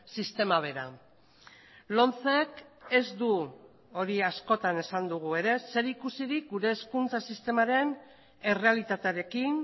sistema bera lomcek ez du hori askotan esan dugu ere zerikusirik gure hezkuntza sistemaren errealitatearekin